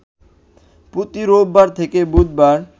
প্রতি রোববার থেকে বুধবার